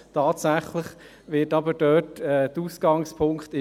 Tatsächlich ist dort Bern der Ausgangspunkt.